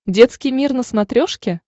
детский мир на смотрешке